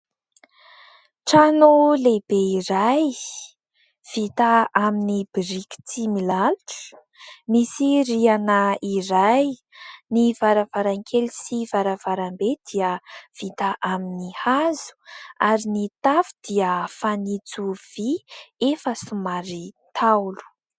Trano lehibe iray vita amin'ny biriky tsy milalotra, misy rihana iray, ny varavarankely sy varavarambe dia vita amin'ny hazo ary ny tafo dia fanitso vy efa somary ntaolo.